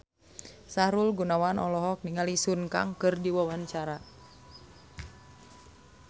Sahrul Gunawan olohok ningali Sun Kang keur diwawancara